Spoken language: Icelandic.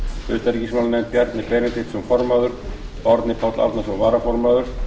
utanríkismálanefnd bjarni benediktsson formaður og árni páll árnason varaformaður